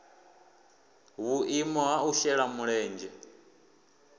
vhuimo ha u shela mulenzhe